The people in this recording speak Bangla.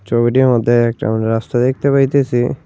চোবিটির মদ্যে একটা আমরা রাস্তা দেখতে পাইতেসি।